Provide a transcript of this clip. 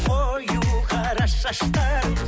қою қара шаштарың